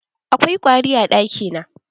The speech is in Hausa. Akwai ƙwari a ɗakin?